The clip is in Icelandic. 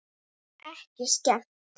Ekki skemmt.